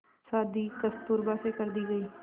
शादी कस्तूरबा से कर दी गई